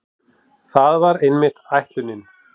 Það var einmitt ætlunin.